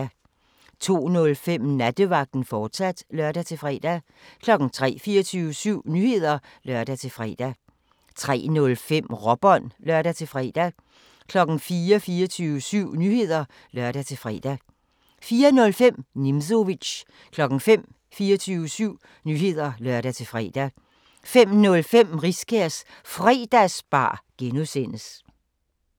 02:05: Nattevagten, fortsat (lør-fre) 03:00: 24syv Nyheder (lør-fre) 03:05: Råbånd (lør-fre) 04:00: 24syv Nyheder (lør-fre) 04:05: Nimzowitsch 05:00: 24syv Nyheder (lør-fre) 05:05: Riskærs Fredagsbar (G)